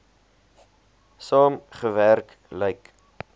saam gewerk lyk